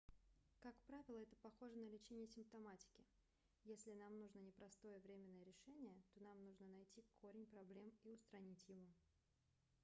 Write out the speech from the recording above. как правило это похоже на лечение симптоматики если нам нужно не просто временное решение то нам нужно найти корень проблем и устранить его